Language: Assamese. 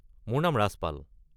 মোৰ নাম ৰাজপাল।